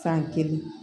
San kelen